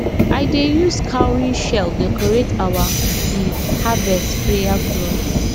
i dey use cowrie shell decorate our um harvest prayer cloth